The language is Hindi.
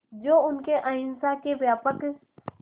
जो उनके अहिंसा के व्यापक